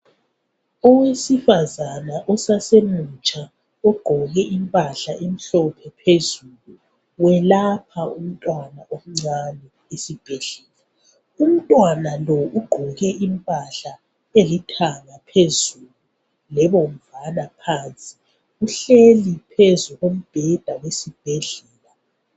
Owesifazana osasemutsha ugqoke impahla emhlophe phezulu welapha umntwana omncane esibhedlela umntwana lo ugqoke impahla elithanga phezulu lebomvana phansi uhleli phezu kombheda wesibhedlela